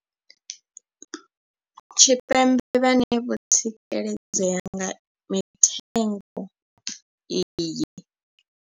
Tshipembe vhane vho tsikeledzea nga mitengo iyi.